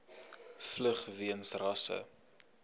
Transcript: vlug weens rasse